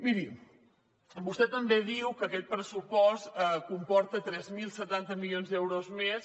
miri vostè també diu que aquest pressupost comporta tres mil setanta milions d’euros més